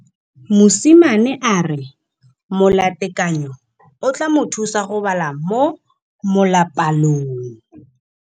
Mosimane a re molatekanyô o tla mo thusa go bala mo molapalong.